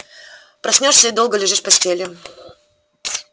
проснёшься и долго лежишь в постели